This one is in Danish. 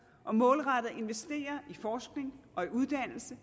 og målrettet investerer i forskning og i uddannelse